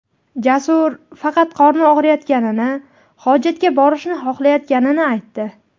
Jasur faqat qorni og‘riyotganini, hojatga borishni xohlayotganini aytdi.